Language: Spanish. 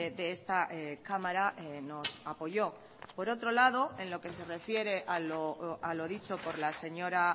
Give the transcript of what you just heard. de esta cámara nos apoyo por otro lado en lo que se refiere a lo dicho por la señora